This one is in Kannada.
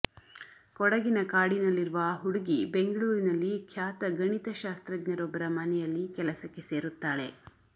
ಕೊಡಗಿನ ಕಾಡಿನಲ್ಲಿರುವ ಆ ಹುಡುಗಿ ಬೆಂಗಳೂರಿನಲ್ಲಿ ಖ್ಯಾತ ಗಣಿತಶಾಸ್ತ್ರಜ್ಞರೊಬ್ಬರ ಮನೆಯಲ್ಲಿ ಕೆಲಸಕ್ಕೆ ಸೇರುತ್ತಾಳೆ